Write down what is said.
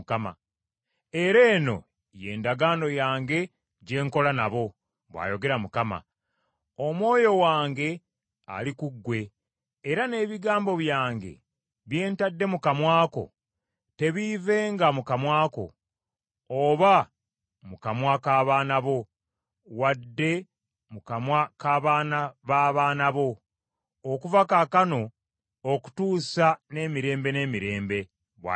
“Era, eno y’endagaano yange gye nkola nabo,” bw’ayogera Mukama . “Omwoyo wange ali ku ggwe era n’ebigambo byange bye ntadde mu kamwa ko, tebiivenga mu kamwa ko, oba mu kamwa k’abaana bo, wadde mu kamwa k’abaana b’abaana bo, okuva kaakano okutuusa emirembe n’emirembe,” bw’ayogera Mukama .